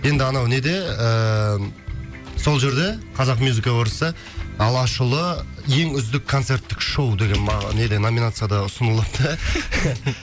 енді анау неде ыыы сол жерде қазақ мьюзик эвордста алашұлы ең үздік концерттік шоу деген неде номинацияда ұсынылыпты